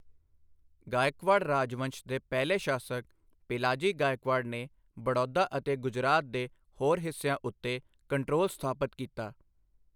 ਗਾਇਕਵਾੜ ਰਾਜਵੰਸ਼ ਦੇ ਪਹਿਲੇ ਸ਼ਾਸਕ ਪਿਲਾਜੀ ਗਾਇਕਵਾੜ ਨੇ ਬੜੌਦਾ ਅਤੇ ਗੁਜਰਾਤ ਦੇ ਹੋਰ ਹਿੱਸਿਆਂ ਉੱਤੇ ਕੰਟਰੋਲ ਸਥਾਪਤ ਕੀਤਾ।